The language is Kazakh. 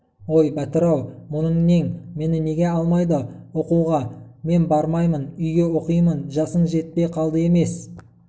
ой бәтір-ау мұның нең мені неге алмайды оқуға мен бармаймын үйге оқимын жасың жетпей қалды емес